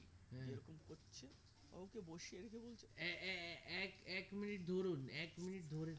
এ এ এ এক minute ধরুন এক minute ধরে থাকুন